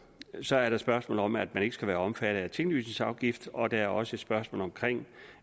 så er der spørgsmålet om at man ikke skal være omfattet af en tinglysningsafgift og der er også et spørgsmål om